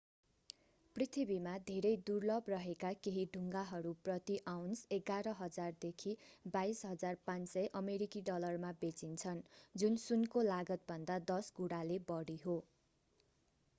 पृथ्वीमा धेरै दुर्लभ रहेका केही ढुङ्गाहरू प्रति आउन्स 11,000 देखि 22,500 अमेरिकी डलरमा बेचिन्छन् जुन सुनको लागतभन्दा दश गुणाले बढी हो